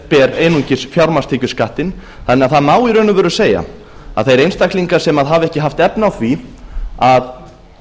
ber einungis fjármagnstekjuskattinn þannig að það má í raun og veru segja að þeir einstaklingar sem hafa ekki haft efni á því að